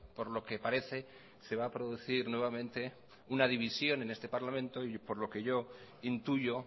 por lo que parece se va a producir nuevamente una división en este parlamento y por lo que yo intuyo